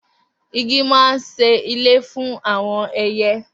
Igi máa ń ṣe ilé fún àwọn ẹyẹ